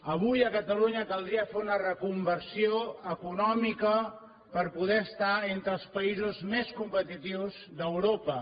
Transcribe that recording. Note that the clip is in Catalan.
avui a catalunya caldria fer una reconversió econòmica per poder estar entre els països més competitius d’europa